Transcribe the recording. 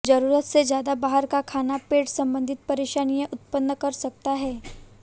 जरूरत से ज्यादा बाहर का खाना पेट संबंधी परेशानियां उत्पन्न कर सकता है